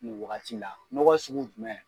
Nin waagati la. N'ɔgɔ sugu jumɛn.